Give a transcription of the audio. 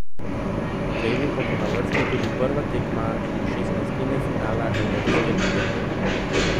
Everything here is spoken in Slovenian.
Drevi pa bo na vrsti tudi prva tekma šestnajstine finala evropske lige.